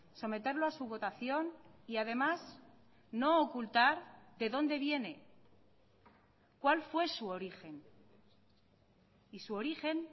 someterlo a su votación y además no ocultar de dónde viene cuál fue su origen y su origen